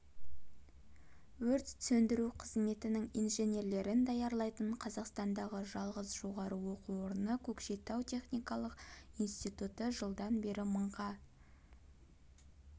өрт сөндіру қызметінің инженерлерін даярлайтын қазақстандағы жалғыз жоғары оқу орны көкшетау техникалық институты жылдан бері мыңға